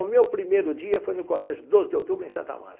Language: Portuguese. O meu primeiro dia foi no colégio Doze de Outubro, em Santo Amaro.